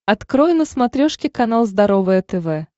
открой на смотрешке канал здоровое тв